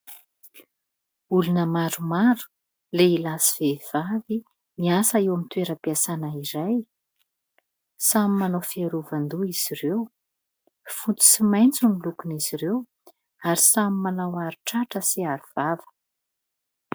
Olona maromaro lehilahy sy vehivavy miasa eo amin'ny toeram-piasana iray. Samy manao fiarovan-doha izy ireo fotsy sy maintso ny lokon' izy ireo ary samy manao aro-tratra sy aro-vava.